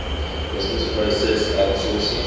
business process outsourcing